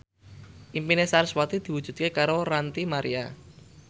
impine sarasvati diwujudke karo Ranty Maria